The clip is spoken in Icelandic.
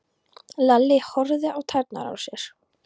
Lalli horfði á tærnar á sér.